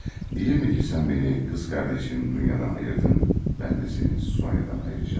Deyilmi ki, sən məni qız qardaşın Dunyadan ayırdın, mən də səni Sonyadan ayıracağam.